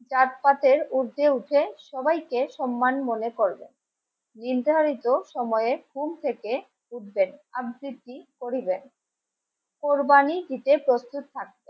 জাতপাতের উর্ধে উঠে সবাইকে সম্মান মনে করো নির্ধারিত সময়ে ঘুম থেকে উঠবেন আবৃত্তি করিবেন কোরবানি দিতে প্রস্তুত থাকুন